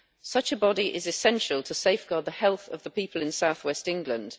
Such a body is essential to safeguard the health of the people in south west England.